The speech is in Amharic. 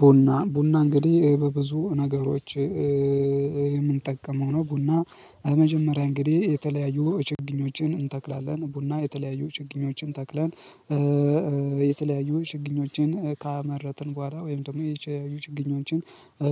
ቡና ቡና እንግዲህ በብዙ ነገሮች የምንጠቀመው ነው ቡና። መጀመሪያ እንግዲህ የተለያዩ ቸግኞችን እንተክላለን ቡና የተለያዩ ችግኞችን ተክለን የተለያዩ ችግኞችን ካመረጥን በኋላ ወይም ደግሞ የተለያዩ ችግኞችን